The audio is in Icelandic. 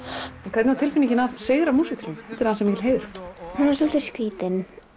hvernig var að sigra í músíktilraunum það er mikill heiður það var svolítið skrítið